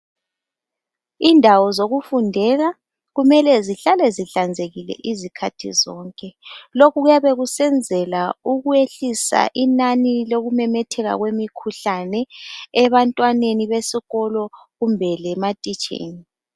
Indawo zokufundela kumele zihlale zihlanzekile izikhathi zonke lokhu kuyabe kusenzela ukwehlisa inani lokumemetheka kwemikhuhlane ebantwaneni besikolo kumbe lematitsheni.